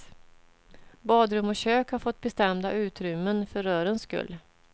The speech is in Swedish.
Badrum och kök har fått bestämda utrymmen för rörens skull.